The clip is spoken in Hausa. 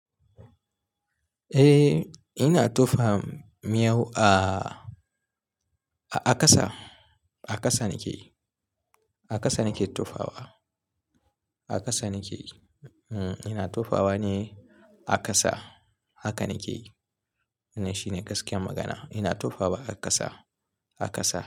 Eh, ina tofa miyau a, a ƙasa. A ƙasa nike, a ƙasa nike tufawa. A ƙasa nike. Hm, ina tufawa ne a ƙasa. Haka nike. Ina, shine gaskiyar magana. Ina tufawa a ƙasa, a ƙasa.